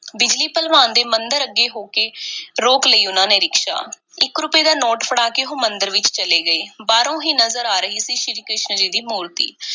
ਬਿਜਲੀ ਭਲਵਾਨ ਦੇ ਮੰਦਿਰ ਅੱਗੇ ਹੋ ਕੇ, ਰੋਕ ਲਈ ਉਹਨਾਂ ਨੇ ਰਿਕਸ਼ਾ। ਇੱਕ ਰੁਪਏ ਦਾ ਨੋਟ ਫੜਾ ਕੇ ਉਹ ਮੰਦਿਰ ਵਿੱਚ ਚਲੇ ਗਏ। ਬਾਹਰੋਂ ਹੀ ਨਜ਼ਰ ਆ ਰਹੀ ਸ਼੍ਰੀ ਕ੍ਰਿਸ਼ਨ ਜੀ ਦੀ ਮੂਰਤੀ।